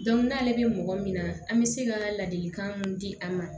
n'ale bɛ mɔgɔ min na an bɛ se ka ladilikan mun di a ma